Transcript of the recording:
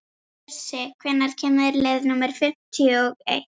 Bjössi, hvenær kemur leið númer fimmtíu og eitt?